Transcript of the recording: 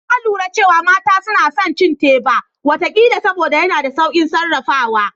Na lura cewa mata suna son cin teba wata kila saboda yana da saukin sarrafawa